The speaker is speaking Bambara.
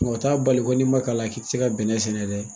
Nka o t'a bali ko n'i man kalan k'i tɛ se ka bɛnɛ sɛnɛ dɛ.